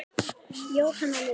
Jóhanna Lind.